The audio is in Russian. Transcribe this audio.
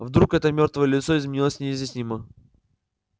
вдруг это мёртвое лицо изменилось неизъяснимо